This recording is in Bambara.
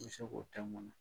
I be se k'o tɛmuna